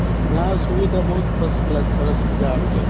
યા સુવિધા બહુ જ first class સરસ મજા આવી જાય